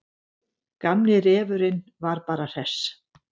Gamli refurinn var bara hress.